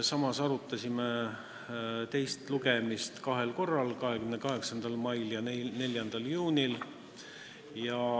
Samas arutasime teist lugemist kahel korral: 28. mail ja 4. juunil.